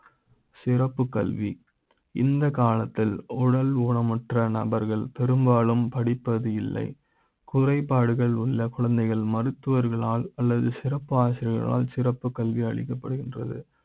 சிறப்பு கல்வி இந்த காலத்தில் உடல் ஊனமுற்ற நபர்கள் பெரும்பாலும் படி ப்பது இல்லை குறைபாடுகள் உள்ள குழந்தைகள் மருத்துவர்களால் அல்லது சிறப்பாசிரியர்கள் சிறப்பு கல்வி அளிக்க ப்படுகின்றது